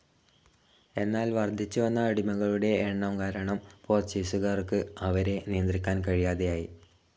എന്നാൽ വർദ്ധിച്ചുവന്ന അടിമകളുടെ എണ്ണം കാരണം പോർച്ചുഗീസുകാർക്ക് അവരെ നിയന്ത്രിക്കാൻ കഴിയാതെയായി.